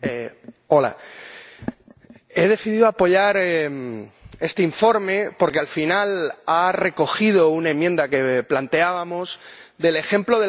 Señor Presidente, he decidido apoyar este informe porque al final ha recogido una enmienda que planteábamos sobre el ejemplo